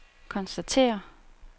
konstaterer